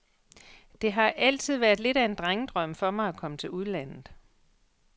Det har altid været lidt af en drengedrøm for mig at komme til udlandet.